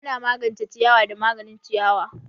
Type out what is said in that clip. Ana magance ciyawa da maganin ciyawa.